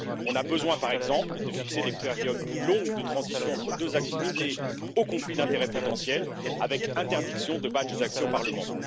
On a besoin, par exemple, de fixer des périodes plus longues de transition entre deux activités aux conflits d'intérêts potentiels avec interdiction de badges d'accès au Parlement.